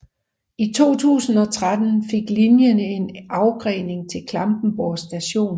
I 2013 fik linjen en afgrening til Klampenborg st